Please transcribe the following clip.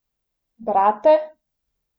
Brate?